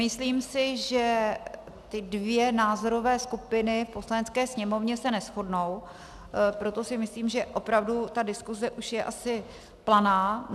Myslím si, že ty dvě názorové skupiny v Poslanecké sněmovně se neshodnou, proto si myslím, že opravdu ta diskuse už je asi planá.